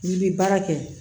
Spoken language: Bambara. N'i bi baara kɛ